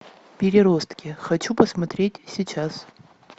переростки хочу посмотреть сейчас